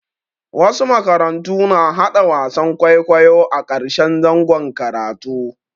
Wasu makarantu na haɗa wasan kwaikwayo a ƙarshen zangon karatu.